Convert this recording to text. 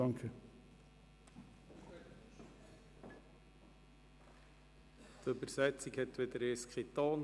Die Übersetzung hatte wieder einmal keinen Ton.